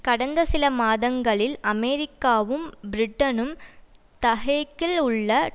கடந்த சில மாதங்களில் அமெரிக்காவும் பிரிட்டனும் ட ஹேகில் உள்ள